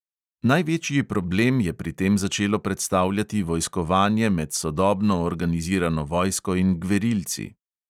Največji problem je pri tem začelo predstavljati vojskovanje med sodobno organizirano vojsko in gverilci.